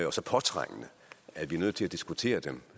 og så påtrængende at vi er nødt til at diskutere dem